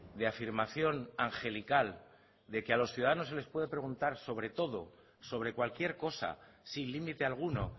de afirmación angelical de que a los ciudadanos se les puede preguntar sobre todo sobre cualquier cosa sin límite alguno